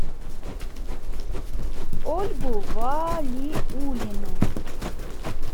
ольгу валиуллину